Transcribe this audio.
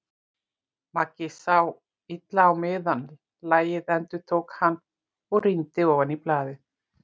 Maggi sá illa á miðann. lagið, endurtók hann og rýndi ofan í blaðið.